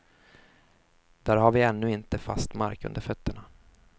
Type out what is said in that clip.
Där har vi ännu inte fast mark under fötterna.